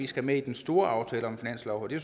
skal med i den store aftale om finansloven det